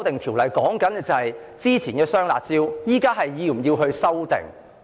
《條例草案》關乎之前的"雙辣招"現時是否需要修訂。